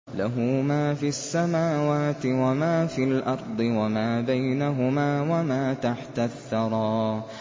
لَهُ مَا فِي السَّمَاوَاتِ وَمَا فِي الْأَرْضِ وَمَا بَيْنَهُمَا وَمَا تَحْتَ الثَّرَىٰ